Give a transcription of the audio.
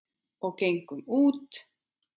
Og gengum út.